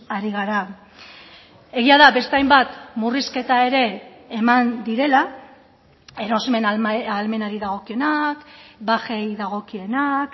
ari gara egia da beste hainbat murrizketa ere eman direla erosmen ahalmenari dagokionak bajei dagokienak